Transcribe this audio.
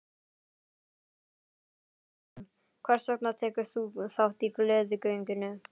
Gunnar Atli Gunnarsson: Hvers vegna tekur þú þátt í Gleðigöngunni?